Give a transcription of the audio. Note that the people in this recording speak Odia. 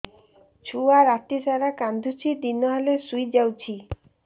ଛୁଆ ରାତି ସାରା କାନ୍ଦୁଚି ଦିନ ହେଲେ ଶୁଇଯାଉଛି